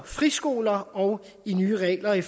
friskoler og nye regler i